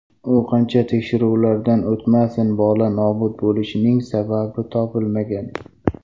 U qancha tekshiruvlardan o‘tmasin, bola nobud bo‘lishining sababi topilmagan.